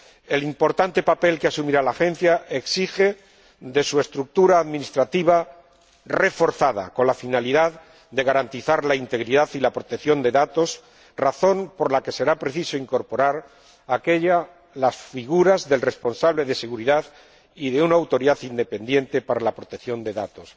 El importante papel que asumirá la Agencia exige que cuente con una estructura administrativa reforzada con la finalidad de garantizar la integridad y la protección de datos, razón por la que será preciso incorporar a la misma las figuras del responsable de seguridad y de una autoridad independiente para la protección de datos,